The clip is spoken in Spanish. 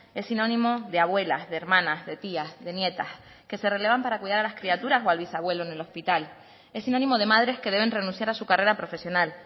es sinónimo de abuelas de hermanas de tías de nietas que se relevan para cuidar a las criaturas o al bisabuelo en el hospital es sinónimo de madres que deben renunciar a su carrera profesional